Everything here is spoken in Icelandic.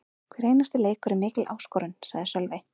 Hver einasti leikur er mikil áskorun, sagði Sölvi.